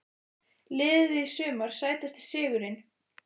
Liðið í sumar Sætasti sigurinn?